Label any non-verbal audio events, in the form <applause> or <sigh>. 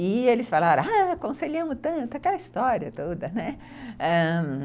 E eles falaram, <unintelligible> aconselhamos tanto, aquela história toda, né, ãh...